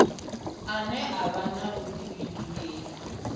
ane a vha na vhudifhinduleli